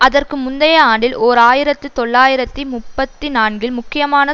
அதற்கு முந்தைய ஆண்டில் ஓர் ஆயிரத்தி தொள்ளாயிரத்து முப்பத்தி நான்கில் முக்கியமான